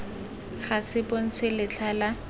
ga se bontshe letlha la